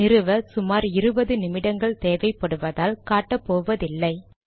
நிறுவ சுமார் இருபது நிமிடங்கள் தேவைபடுவதால் காட்ட போவதில்லை